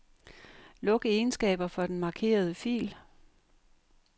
Luk egenskaber for den markerede fil.